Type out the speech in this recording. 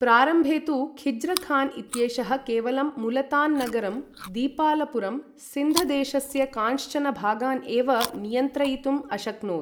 प्रारम्भे तु ख़िज़्रख़ान् इत्येषः केवलं मुलतान् नगरं, दीपालपुरं, सिन्ध देशस्य कांश्चन भागान् एव नियन्त्रयितुम् अशक्नोत्।